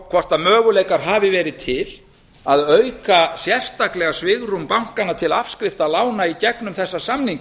hvort möguleikar hafi verið til að auka sérstaklega svigrúm bankanna til afskrifta lána í gegnum þessa samninga